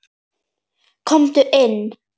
Komdu inn!